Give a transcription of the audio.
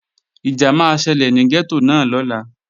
Ìjà máa ṣẹlẹ̀ ní gẹ́tò náà lọ́la